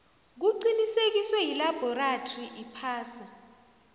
kuqinisekiswe yilabhorathri iphasi